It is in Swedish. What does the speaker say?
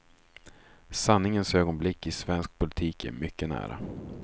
Sanningens ögonblick i svensk politik är mycket nära.